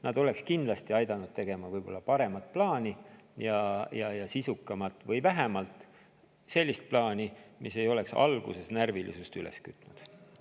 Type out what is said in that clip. Nad oleks kindlasti aidanud teha paremat ja sisukamat plaani või vähemalt sellist plaani, mis ei oleks alguses närvilisust üles kütnud.